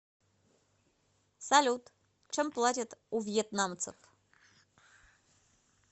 салют чем платят у вьетнамцев